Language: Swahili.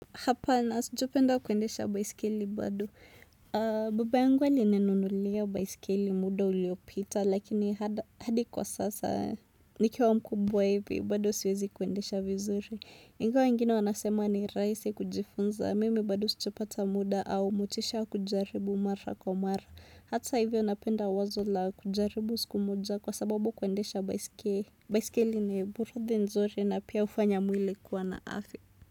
Hapa na sijapenda kwendesha baiskeli bado. Baba yangu ali ninunulia baiskeli muda uliopita lakini hadi kwa sasa nikiwa mkubwa hivi bado siwezi kwendesha vizuri. Ingawa wengine wanasema ni raisi kujifunza mimi bado sijapata muda au motisha kujaribu mara kwa mara. Hata hivyo napenda wazo la kujaribu sikumoja kwa sababu kwendesha baiskeli. Baiskeli ni burudhi nzuri na pia ufanya mwili kuwa na afia.